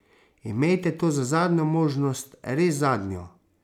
Imejte to za zadnjo možnost, res zadnjo.